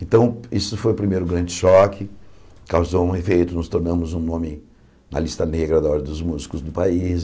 Então, isso foi o primeiro grande choque, causou um efeito, nos tornamos um homem na lista negra da ordem dos músicos do país.